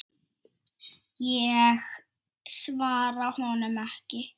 Ég svara honum ekki.